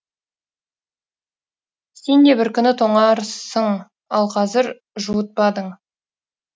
сен де бір күні тоңарсың ал қазір жуытпадың